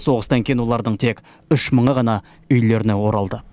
соғыстан кейін олардың тек үш мыңы ғана үйлеріне оралды